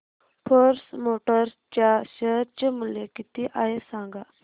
force Motors च्या share चे मूल्य किती आहे सांगा